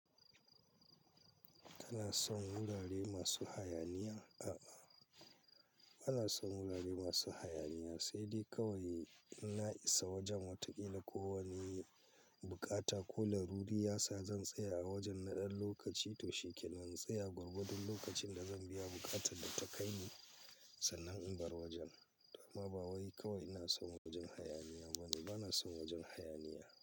Kana son wurare masu hayaniya? A'a, bana son wurare masu hayaniya, sai dai kawai idan na'isa wajen wata kila ko wani buƙata. Ko laruri yasa zan tsaya a wajen na ɗan lokaci to shikenan. Tsaya gwargwadon lokacin da zan biya buƙatar da ta kai ni sannan inbar wajen. Dama ba wai kawai ina son wajen hayaniya bane, bana son wajen hayaniya.